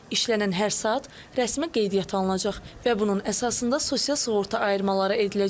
İşlənən hər saat rəsmi qeydiyyata alınacaq və bunun əsasında sosial sığorta ayırmaları ediləcək.